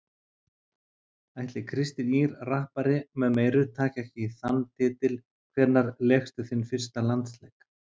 Ætli Kristín Ýr rappari með meiru taki ekki þann titil Hvenær lékstu þinn fyrsta landsleik?